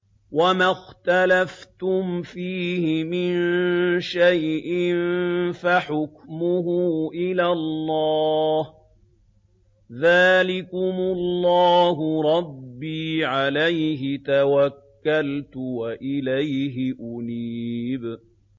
وَمَا اخْتَلَفْتُمْ فِيهِ مِن شَيْءٍ فَحُكْمُهُ إِلَى اللَّهِ ۚ ذَٰلِكُمُ اللَّهُ رَبِّي عَلَيْهِ تَوَكَّلْتُ وَإِلَيْهِ أُنِيبُ